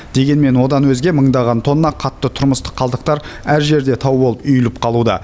дегенмен одан өзге мыңдаған тонна қатты тұрмыстық қалдықтар әр жерде тау болып үйіліп қалуда